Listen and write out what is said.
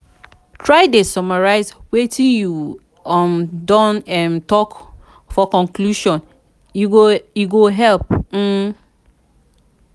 try dey summarize wetin you um don um talk for conclusion e go help. um